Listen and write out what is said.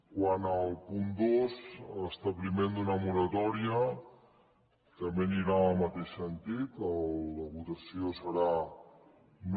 quant al punt dos l’establiment d’una moratòria també anirà en el mateix sentit la votació serà no